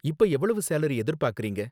இப்ப எவ்ளோ சேலரி எதிர்பார்க்கறீங்க?